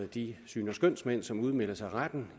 de syns og skønsmænd som udmelder sig retten